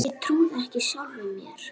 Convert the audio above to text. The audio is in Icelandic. Ég trúði ekki sjálfum mér.